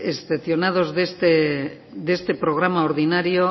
excepcionados de este programa ordinario